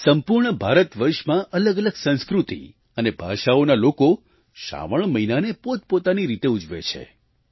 સંપૂર્ણ ભારતવર્ષમાં અલગઅલગ સંસ્કૃતિ અને ભાષાઓના લોકો શ્રાવણ મહિનાને પોતપોતાની રીતે ઉજવે છે